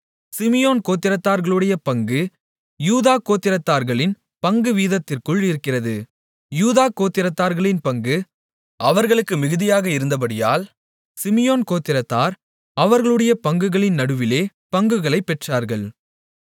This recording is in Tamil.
சிமியோன் கோத்திரத்தார்களுடைய பங்கு யூதா கோத்திரத்தார்களின் பங்குவீதத்திற்குள் இருக்கிறது யூதா கோத்திரத்தார்களின் பங்கு அவர்களுக்கு மிகுதியாக இருந்தபடியால் சிமியோன் கோத்திரத்தார் அவர்களுடைய பங்குகளின் நடுவிலே பங்குகளைப் பெற்றார்கள்